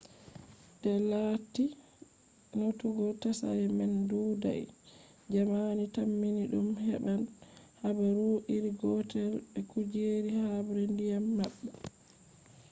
de latti notugo tsari man ɗuuɗai jamani tammi ɗum heɓan habaru iri gotel be kujeji habre ndiyam maɓɓe